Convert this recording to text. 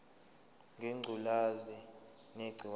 ngengculazi negciwane layo